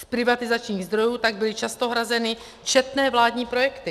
Z privatizačních zdrojů tak byly často hrazeny četné vládní projekty.